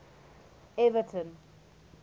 everton